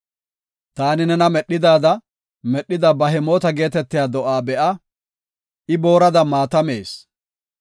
Taani nena medhidaada medhida Bihemoota geetetiya do7a be7a; I boorada maata mees.